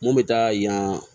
Mun bɛ taa yan